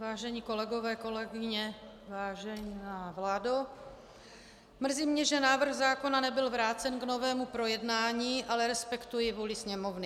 Vážení kolegové, kolegyně, vážená vládo, mrzí mě, že návrh zákona nebyl vrácen k novému projednání, ale respektuji vůli Sněmovny.